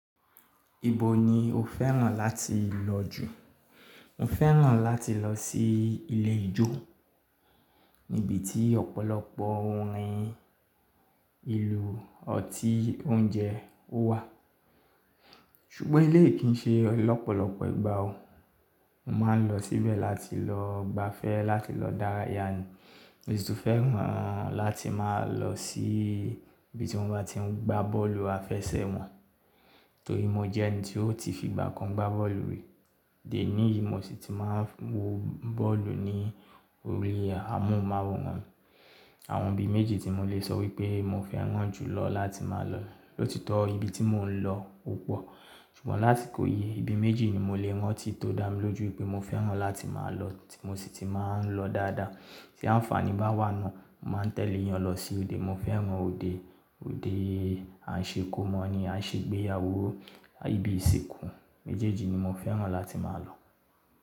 Ibo ni o fẹ́ràn láti lọ jù? Mo fẹ́ràn láti lọ sí ilé ijó níbi tí ọ̀pọ̀lọpọ̀ orin ìlú, ọtí, oúnjẹ ó wà. Ṣùgbọ́n elé yìí kì í ṣe lọ́pọ̀lọpọ̀ ìgbà o. Mo máa ń lọ síbẹ̀ láti lọ gbafẹ́, láti lọ dáràyà ni. Mo sì tún fẹ́ràn láti máa lọ sí ibi tí wọ́n bá ti ń gbá bọ́ọ̀lù àfẹsẹ̀gbá. Torí mo jẹ́ ẹni tí ó ti fìgbà kan gbá bọ́ọ̀lù rí. Dè é ní, mo sì ti máa ń wo bọ́ọ̀lù ní orí amóhùnmáwòrán. Àwọn ibi méjì tí mo lè sọ wípé mo fẹ́ràn jù lọ láti máa lọ. Lóòtitọ́ ibi tí mò ń lọ kọ́pọ̀. Ṣùgbọ́n lási kò yi, ibi méjì ni mo lè rántí tó dá mi lójú wípé mo fẹ́ràn láti máa lọ tí mo sì ti máa ń lọ dáadáa. Tí àǹfààní bá wà náà, mo máa ń tẹ̀lé ìyàn lọ sí òde. Mo fẹ́ràn òde. Òde à ń ṣe kó mọ́ ni, à ń ṣe ìgbéyàwó, ibi ìsìnkú. Ibi méjèèjì ni mo fẹ́ràn láti máa lọ.